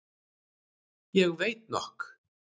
Ég veit nokk.